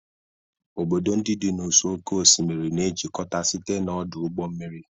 Obodo ndị dị n'ụsọ oké osimiri na-ejikọta site na ọdụ ụgbọ mmiri.